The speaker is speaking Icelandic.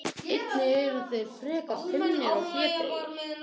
Einnig eru þeir frekar feimnir og hlédrægir.